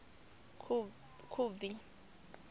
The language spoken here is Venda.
khubvi